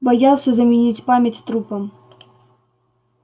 боялся заменить память трупом